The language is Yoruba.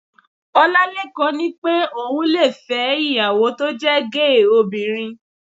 Ọlálékan ní pé òun le fẹ́ ìyàwó tó jẹ́ géè obìnrin